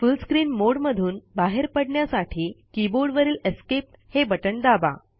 फुल screen मोडे मधून बाहेर पडण्यासाठी कीबोर्डवरील एस्केप हे बटण दाबा